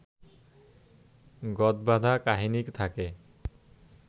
গৎবাঁধা কাহিনী থাকে